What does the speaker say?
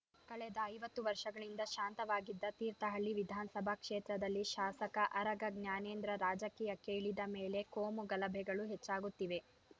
ಕಳೆದ ಐವತ್ತು ವರ್ಷಗಳಿಂದ ಶಾಂತವಾಗಿದ್ದ ತೀರ್ಥಹಳ್ಳಿ ವಿಧಾನಸಭಾ ಕ್ಷೇತ್ರದಲ್ಲಿ ಶಾಸಕ ಆರಗ ಜ್ಞಾನೇಂದ್ರ ರಾಜಕೀಯಕ್ಕೆ ಇಳಿದ ಮೇಲೆ ಕೋಮು ಗಲಭೆಗಳು ಹೆಚ್ಚಾಗುತ್ತಿವೆ